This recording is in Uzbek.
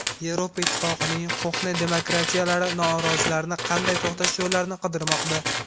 Yevropa Ittifoqining qo‘hna demokratiyalari norozilarni qanday to‘xtatish yo‘llarini qidirmoqda.